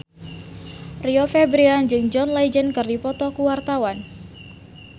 Rio Febrian jeung John Legend keur dipoto ku wartawan